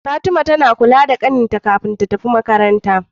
Fatima tAna kula da ƙanin ta kafin ta tafi makaranta